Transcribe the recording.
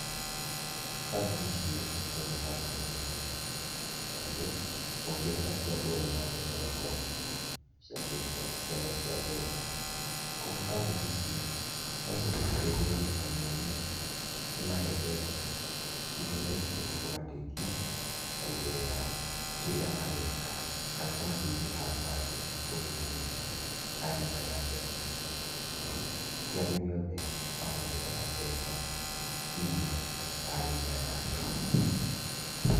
Kambuni ici nĩ cihutagia handũ hanene mũno tondũ ũngĩrora ti andũ othe mangĩheo ngombo cia mbeca. Kũoguo kambuni ici no ciũke citeithĩrĩrie arĩmi anini ci mahe mbeca irĩa mbeca icio cikũmateithia kuongerera kĩríĩ mareka kana kũmateithia handũ hangĩ ũrĩminĩ harĩa matarĩ na mbeca icio tondũ ti arĩmi othe mathondekaga mbeca imwe ta arĩmi aya angĩ.